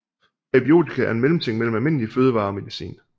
Præbiotika er en mellemting mellem almindelige fødevarer og medicin